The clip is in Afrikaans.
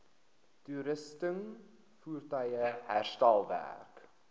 toerusting voertuie herstelwerk